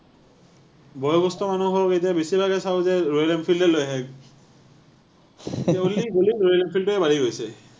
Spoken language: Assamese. বয়সস্থ মানুহৰো এতিয়া বেছিভাগে চাওঁ যে royal enfield এ লৈ আহে। গলি গলি royal enfield য়ে বাঢ়ি গৈছে।